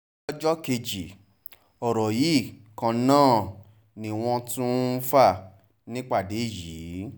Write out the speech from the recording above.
lọ́jọ́ kejì ọ̀rọ̀ yìí kan náà ni wọ́n tún ń fà nípàdé yìí